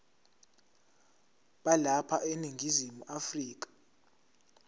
balapha eningizimu afrika